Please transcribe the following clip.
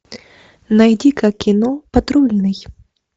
найди ка кино патрульный